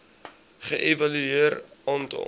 ge evalueer aantal